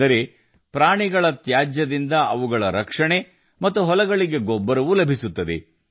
ಅಂದರೆ ನಮ್ಮ ಸಾಕುಪ್ರಾಣಿಗಳ ತ್ಯಾಜ್ಯವನ್ನು ಬಳಸಿಕೊಂಡು ಪ್ರಾಣಿಗಳ ರಕ್ಷಣೆ ಮತ್ತು ಹೊಲಗಳಿಗೆ ಗೊಬ್ಬರವನ್ನು ಸಹ ಬಳಸಲಾಗುತ್ತದೆ